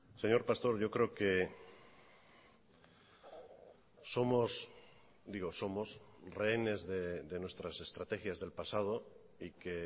señor pastor yo creo que somos digo somos rehenes de nuestras estrategias del pasado y que